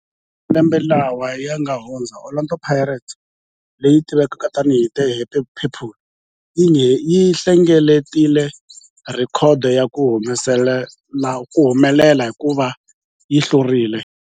Eka malembe lawa yanga hundza, Orlando Pirates, leyi tivekaka tani hi 'The Happy People', yi hlengeletile rhekhodo ya ku humelela hikuva yi hlule